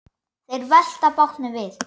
Þeir velta bátnum við.